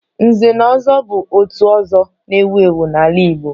Nze na ozo bu òtù ọzọ na-ewu ewu n'ala Igbo